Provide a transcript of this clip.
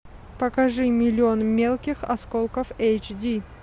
покажи миллион мелких осколков эйч ди